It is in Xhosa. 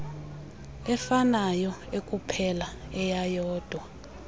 efanayo ekuphela eyeyodwa